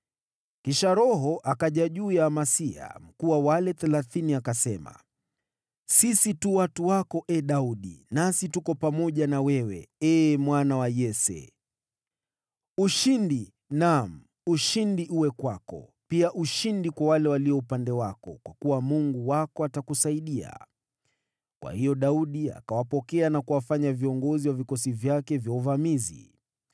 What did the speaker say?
Kisha Roho akaja juu ya Amasai, mkuu wa wale Thelathini, naye akasema: “Sisi tu watu wako, ee Daudi! Nasi tuko pamoja na wewe, ee mwana wa Yese! Ushindi, naam, ushindi uwe kwako, pia ushindi kwa wale walio upande wako, kwa kuwa Mungu wako atakusaidia.” Kwa hiyo Daudi akawapokea na kuwafanya viongozi wa vikosi vyake vya uvamizi.